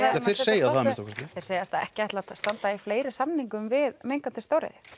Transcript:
þeir segja það að minnsta kosti þeir segjast ekki ætla að standa í fleiri samningum við mengandi stóriðju